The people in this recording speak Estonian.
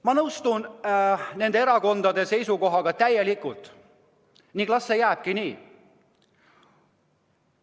Ma aktsepteerin nende erakondade seisukohti täielikult ning las see jääbki nii.